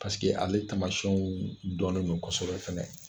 Paseke ale taamasiyɛnw dɔnnen do kɔsɔbɛ fɛnɛ.